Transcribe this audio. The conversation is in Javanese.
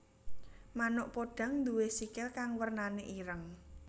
Manuk podhang nduwé sikil kang wernané ireng